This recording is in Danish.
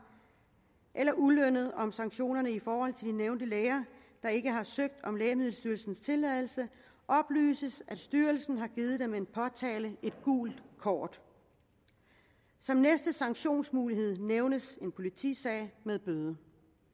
eller ulønnet om sanktionerne i forhold til de nævnte læger der ikke har søgt om lægemiddelstyrelsens tilladelse oplyses det at styrelsen har givet dem en påtale et gult kort som næste sanktionsmulighed nævnes en politisag med bøde